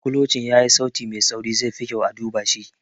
Kulocin yayi sauti mai tsauri - zai fi kyau a duba shi.